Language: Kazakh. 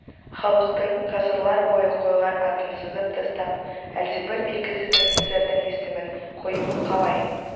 халықтың ғасырлар бойы қойған атын сызып тастап әлдебір белгісіз офицердің есімін қоюы қалай